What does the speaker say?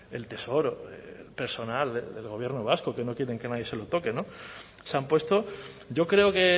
el tesoro personal del gobierno vasco que no quieren que nadie se le toque se han puesto yo creo que